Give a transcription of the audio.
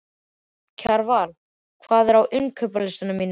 Kjarval, hvað er á innkaupalistanum mínum?